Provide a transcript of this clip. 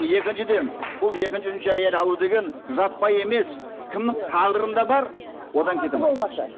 екіншіден бұл екінші үшінші әйел алу деген жаппай емес кімнің тағдырында бар одан кете алмайды